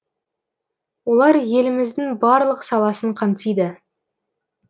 олар еліміздің барлық саласын қамтиды